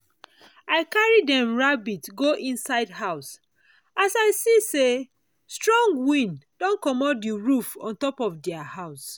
i carry dem rabbit house go inside house as i see say strong wind don commot the roof on top their house.